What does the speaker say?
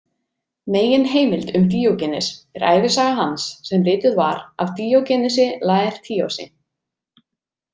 Meginheimild um Díógenes er ævisaga hans sem rituð var af Díógenesi Laertíosi.